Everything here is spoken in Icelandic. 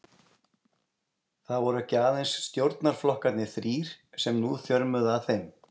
Það voru ekki aðeins stjórnarflokkarnir þrír, sem nú þjörmuðu að þeim.